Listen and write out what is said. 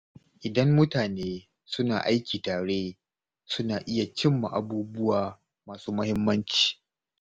Idan mutane suna aiki tare, suna iya cimma abubuwa masu muhimmanci.